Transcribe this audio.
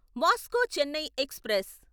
Vasco Chennai express